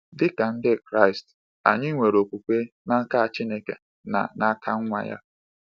Dị ka Ndị Kraịst, anyị nwere okwukwe n’aka Chineke na n’aka Nwa ya.